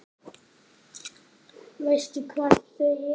Veistu hvar þau eru?